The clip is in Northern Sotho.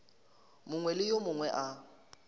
mongwe le yo mongwe a